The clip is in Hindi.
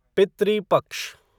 पितृ पक्ष